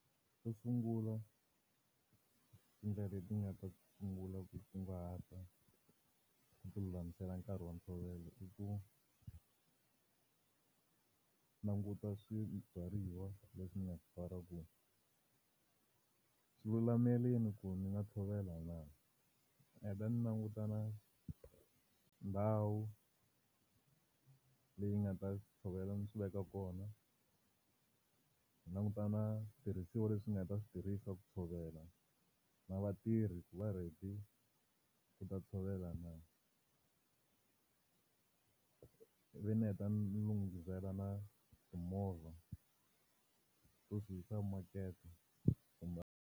Xo sungula, ti ndlela leti nga ta ti sungula ku kunguhata ku ti lulamisela nkarhi wa ntshovelo i ku languta swibyariwa leswi ndzi nga swi byala ku swi lulamerile ku ndzi nga tshovela na. Ndzi heta ndzi languta na ndhawu leyi ndzi nga ta swi tshovela ndzi swi veka kona, ndzi languta na tirhisiwa leswi ndzi nga ta swi tirhisa ku tshovela, na vatirhi ku va ready ku ta tshovela na. Ivi ndzi heta ndzi ndzi lunghisela na timovha to swi yisa makete .